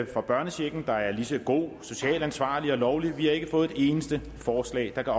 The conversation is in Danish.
for børnechecken der er lige så god socialt ansvarlig og lovlig vi har ikke fået et eneste forslag der kan